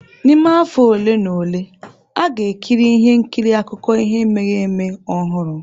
N'ime afọ ole na ole, a ga-ekiri ihe nkiri akụkọ ihe mere eme ọhụrụ.